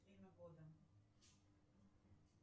время года